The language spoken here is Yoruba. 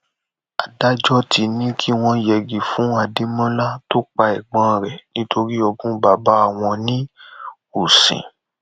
adájọ ti ní kí wọn yẹgi fún adémọlá tó pa ẹgbọn rẹ nítorí ogún bàbá wọn ní ùsìn